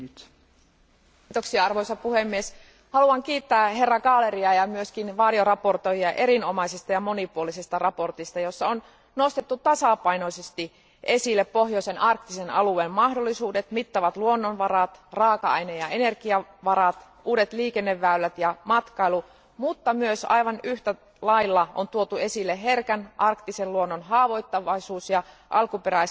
Arvoisa puhemies, haluan kiittää esittelijä Gahleria ja varjoesittelijöitä erinomaisesta ja monipuolisesta mietinnöstä, jossa on nostettu tasapainoisesti esille pohjoisen, arktisen alueen mahdollisuudet, mittavat luonnonvarat, raaka aine ja energiavarat, uudet liikenneväylät ja matkailu, mutta myös samalla tuotu esille herkän arktisen luonnon haavoittuvaisuus ja alkuperäiskansojen oikeudet.